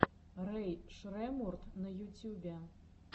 рэй шреммурд на ютьюбе